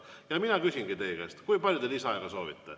Ja ma küsingi teie käest, kui palju te lisaaega soovite.